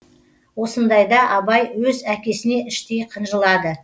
осындайда абай өз әкесіне іштей қынжылады